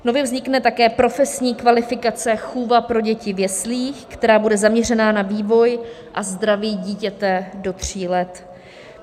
Nově vznikne také profesní kvalifikace chůva pro děti v jeslích, která bude zaměřená na vývoj a zdraví dítěte do tří let.